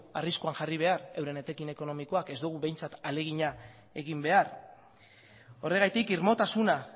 arriskuan jarri behar bere etekin ekonomikoan ez dugu behintzat ahalegina egin behar horregatik irmotasuna